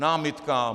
Námitka.